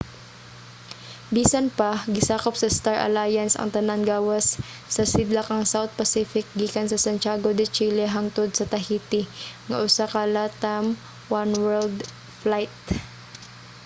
bisan pa gisakup sa star alliance ang tanan gawas sa sidlakang south pacific gikan sa santiago de chile hangtod sa tahiti nga usa ka latam oneworld flight